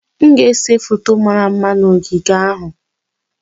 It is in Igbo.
M ga-ese foto mara mma na ogige ahụ.